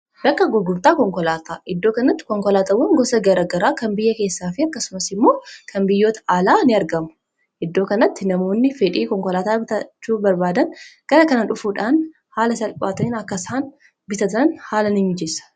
Bakka gurgurtaa konkolaataa; Iddoo kanatti konkolaataawwan gosa garaa garaa kan biyya keessaafi akkasumas immoo kan biyyoota alaa ni'argamu. Iddoo kanatti namoonni fedhii konkolaataa bitaachuu barbaadan gara kana dhufuudhaan haala salphaatiin akka isaan bitatan haala nimijeessa.